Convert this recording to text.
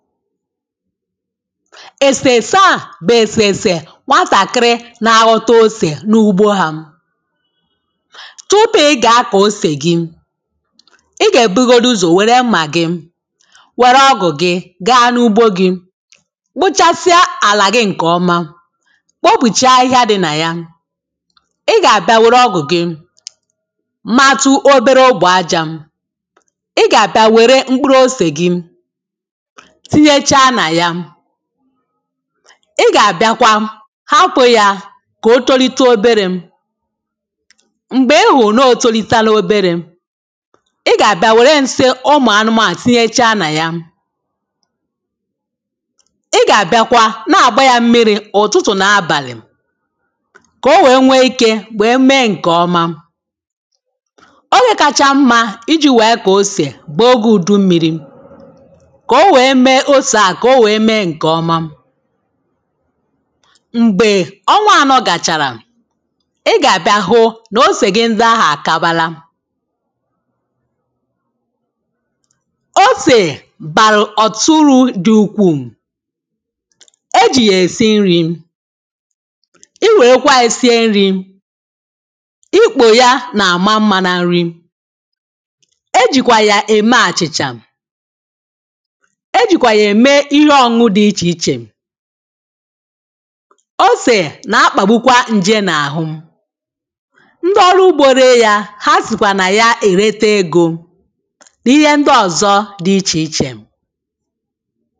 èsèèsè a bụ̀ èsèèsè kwa sàkịrị na-aghọta osè n’ugbo ha tụpụ ị gà-akọ̀ osè gị ị gà-èbugodu uzọ̀ wère mmà gị wère ọgụ̀ gị gaa n’ugbo gị kpụchasịa àlà gị ǹkè ọma kpopùchaa ahịhịa dị nà ya ị gà-àbịa wère ọgụ̀ gị matụ obere ogbè ajȧ ị gà-àbịa wère mkpụrụ osè gị ị gà-àbịakwa hapụ̇ ya kà o tolite oberė m̀gbè ihù n’ o tolitala oberė ị gà-àbịa wère nsi ụmụ̀ anụmȧ tinyechaa nà ya ị gà-àbịakwa na-àgba ya mmiri̇ ụ̀tụtụ̀ nà abàlị̀ kà o wee nwee ikė wèe mee ǹkè ọma ogè kacha mmȧ iji̇ wèe kà osè bụ̀ ogė ùdu mmiri̇ m̀gbè ọnwa ànọ gàchàrà ị gà-àbịa hụ nà osè gị ndị ahụ̀ àkabala osè nà-akpàgbukwa ǹje n’àhụ ndị ọrụ ugbȯ ree yȧ ha sìkwà nà ya èrete egȯ n’ihe ndị ọ̀zọ dị ichè ichè